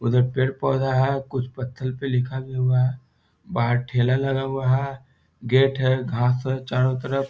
उधर पेड़-पौधा है कुछ पत्थर पे लिखा भी हुआ है बाहर ठेला लगा हुआ है गेट है घास हैं चारों तरफ।